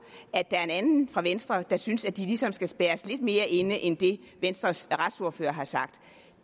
at der er en anden fra venstre der synes at de ligesom skal spærres lidt mere inde end det venstres retsordfører har sagt